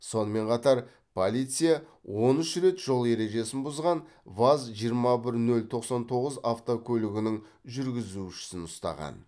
сонымен қатар полиция он үш рет жол ережесін бұзған ваз жиырма бір нөл тоқсан тоғыз автокөлігінің жүргізушісін ұстаған